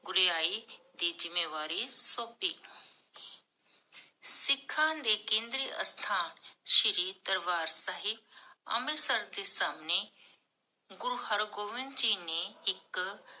ਗੁਰਿਆਈ ਦੀ ਜ਼ਿਮ੍ਮੇਵਾਰੀ ਸੋਪੀ ਸਿਖਾਂ ਦੇ ਕੰਦਰੀ ਅਸਥਾਨ ਸ਼੍ਰੀ ਦਰਬਾਰ ਸਾਹਿਬ, ਅੰਮ੍ਰਿਤਸਰ ਦੇ ਸਾਮਨੇ, ਗੁਰੂ ਹਰਗੋਬਿੰਦ ਜੀ ਇਕ